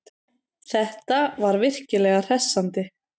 Þetta var virkilega hressandi.